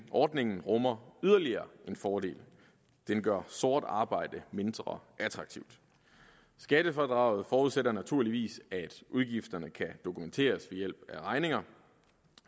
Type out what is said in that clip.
ordningen rummer yderligere en fordel den gør sort arbejde mindre attraktivt skattefradraget forudsætter naturligvis at udgifterne kan dokumenteres ved hjælp af regninger